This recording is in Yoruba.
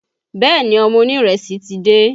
Bẹ́ẹ̀ ni, ọmọ onírẹsì ti dé